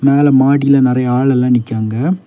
மேல மடியில நெறைய ஆள் எல்லா நிக்கிறாங்க.